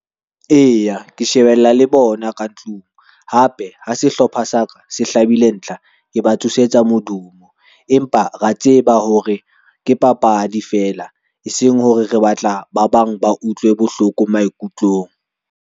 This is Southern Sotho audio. Eya, ke shebella le bona ka ntlong. Hape ha sehlopha sa ka se hlabile ntlha, ke ba tsosetsa modumo. Empa ra tseba hore ke papadi fela eseng hore re batla ba bang ba utlwe bohloko maikutlong.